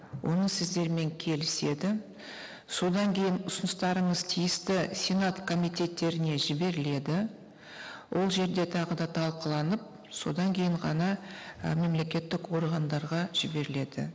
оны сіздермен келіседі содан кейін ұсыныстарыңыз тиісті сенат комитеттеріне жіберіледі ол жерде тағы да талқыланып содан кейін ғана і мемлекеттік органдарға жіберіледі